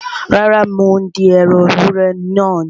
Rárá, mò ń dín ẹran ewúrẹ́ náà ni